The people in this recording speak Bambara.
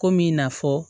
Kom'i na fɔ